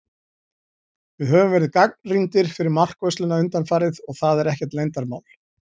Við höfum verið gagnrýndir fyrir markvörsluna undanfarið, og það er ekkert leyndarmál.